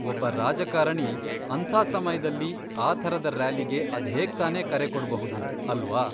ಒಬ್ಬ ರಾಜಕಾರಣಿ ಅಂಥ ಸಮಯ್ದಲ್ಲಿ ಆ ಥರದ ರ್ಯಾಲಿಗೆ ಅದ್ಹೇಗ್ತಾನೇ ಕರೆ ಕೊಡ್ಬಹುದು ಅಲ್ವಾ?